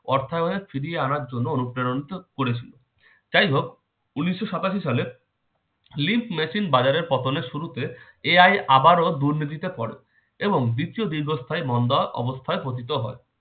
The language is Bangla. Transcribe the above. অর্থায়নে ফিরিয়ে আনার জন্য অনুপ্রেরিত করেছিল। যাই হোক উনিশশো সাতাশি সালে lip machine বাজারের পতনের শুরুতে AI আবারো দুর্নীতিতে পারে এবং দ্বিতীয় দীর্ঘস্থায়ী মন্দা অবস্থায় পতিত হয়।